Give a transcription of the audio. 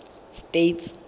states